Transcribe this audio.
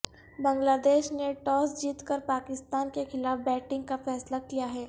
بنگلہ دیش نے ٹاس جیت کر پاکستان کے خلاف بیٹنگ کا فیصلہ کیا ہے